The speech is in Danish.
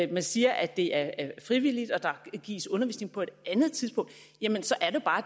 man siger at det er frivilligt og der gives undervisning på et andet tidspunkt så er det bare